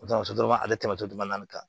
O tamaso dɔrɔn ale tɛmɛ so duguma na tan